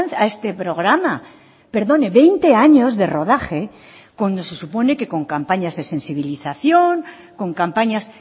a este programa perdone veinte años de rodaje cuando se supone que con campañas de sensibilización con campañas